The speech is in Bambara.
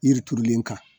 Yiri turulen kan